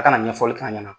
A kana ɲɛfɔli k'a ɲɛna